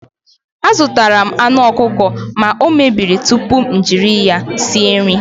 Azụtara m aṅụ ọkụkọ ma na o mebiri tupu m jiri ya sie nri.